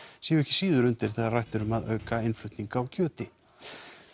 séu ekki síður undir þegar rætt er um að auka innflutning